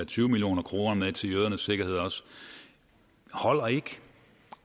tyve million kroner til jødernes sikkerhed holder ikke